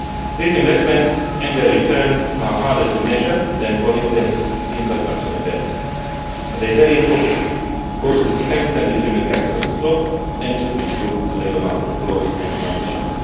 These investments and their returns are harder to measure than, for instance, infrastructure investments, but they are very important, both to strengthen the human capital stock and to improve labour market flows and transitions.